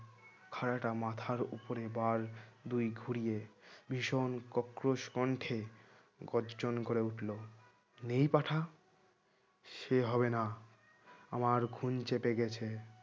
খাড়াটা মাথার উপরে বার দুই ঘুরিয়ে ভীষণ কক্রোশ কণ্ঠে গর্জন করে উঠলো নেই পাঁঠা সে হবে না আমার খুন চেপে গেছে